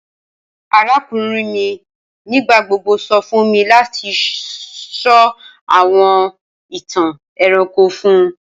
Arakunrin mi nigbagbogbo sọ fun mi lati sọ awọn itan ẹranko fun u.